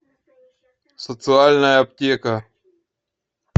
социальная аптека